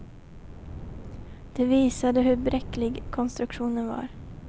Det visade hur bräcklig konstruktionen var.